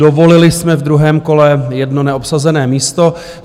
Dovolili jsme v druhém kole 1 neobsazené místo.